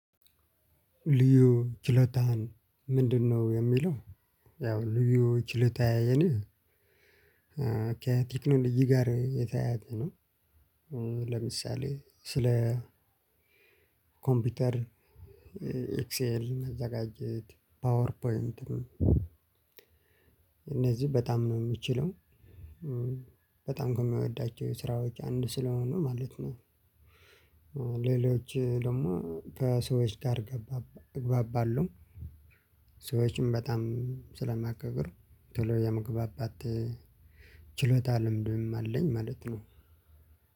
ልዩ ችሎታህን ምንድነው የሚለው? ያው ልዩ ችሎታዬ የኔ ከቴክኖሎጂ ጋር የተያያዘ ነው። ለምሳሌ ስለ ኮምፒውተር። ኤክስኤል ማዘጋጀት ፓወር ፖይንትም። እነዚህ በጣም ነው የምችለው በጣም ከምወዳቸው ስራዎች አንዱ ስለሆኑ ማለት ነው። ሌሎች ደግሞ ከሰዎች ጋር ገባባ እግባባለሁ። ሰዎችም በጣም ስለማከብር ቶሎ የመግባባት ችሎታ ልምድም አለኝ ማለት ነው።